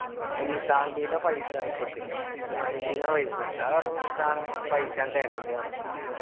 അപ്പൊ നിസ്സാമിന്റെ ന്നാ paisa വാങ്ങിക്കൊടുത്തിക്കണ് നിസാന്റെന്ന paisa കൊടുത്ത നിസ്സാം എനക്ക് paisa ഞാൻ തരണിണ്ട് പറഞ്ഞു